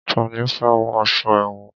Tani ó fẹ́ wọ aṣọ èwọ̀n?